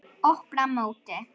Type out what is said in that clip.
Opna móti.